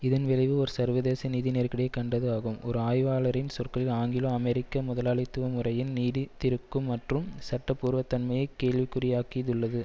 இதன் விளைவு ஒரு சர்வதேச நிதி நெருக்கடியைக் கண்டது ஆகும் ஒரு ஆய்வாளரின் சொற்களில் ஆங்கிலோ அமெரிக்க முதலாளித்துவமுறையின் நீடித்திருக்கும் மற்றும் சட்டபூர்வத்தன்மையை கேள்விக்குரியாக்கியதுள்ளது